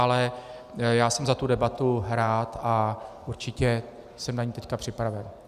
Ale já jsem za tu debatu rád a určitě jsem na ni teď připraven.